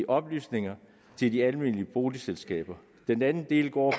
oplysninger til de almene boligselskaber den anden del går